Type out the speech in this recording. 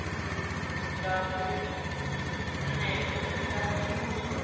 ḽa vhuṋe musi vha tshi